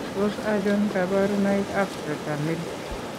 Tos achon kabarunaik ab Tetramelic